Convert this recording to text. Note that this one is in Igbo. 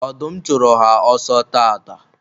ọdụm chụrụ ha ọsọ taata